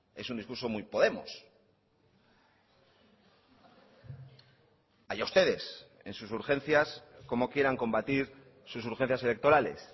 es un discurso muy podemos allá ustedes en sus urgencias cómo quieran combatir sus urgencias electorales